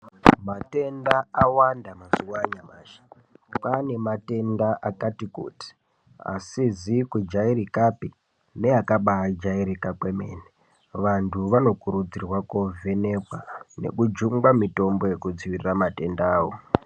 Matenda awanda mazuwa anyamashi kwaane matenda akati kuti asizi kujairirika pi neakaba jairika kwemene vantu vanokurudzirwa ko vhenekwa neku jungwa mitombo yekudzivirira matendawo.